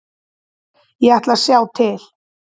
Ég ætla að sjá til.